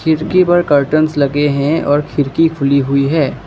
खिड़की पर कर्टेंस लगे हैं और खिड़की खुली हुई है।